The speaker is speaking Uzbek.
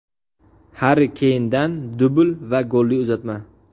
Harri Keyndan dubl va golli uzatma.